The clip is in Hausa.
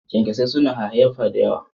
kyankyasai suna hayayyafa da yawa.